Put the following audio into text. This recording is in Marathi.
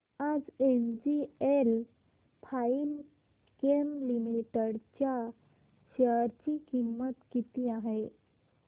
आज एनजीएल फाइनकेम लिमिटेड च्या शेअर ची किंमत किती आहे